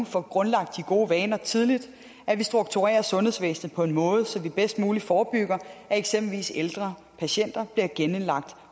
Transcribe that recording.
får grundlagt de gode vaner tidligt og at vi strukturerer sundhedsvæsenet på en måde så vi bedst muligt forebygger at eksempelvis ældre patienter bliver indlagt